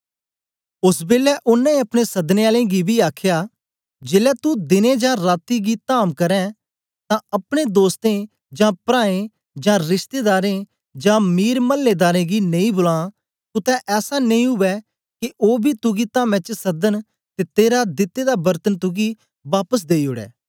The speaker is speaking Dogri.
ओस बेलै ओनें अपने सदने आले गी बी आखया जेलै तू दिने जां राती दी धाम करें तां अपने दोस्तें जां प्राऐं जां रिश्तेदारें जां मीर मल्लेदारें गी नेई बुला कुतै ऐसा नेई उवै के ओ बी तुगी धामे च सदन ते तेरा दिते दा बरतन तुगी बापस देई ओड़े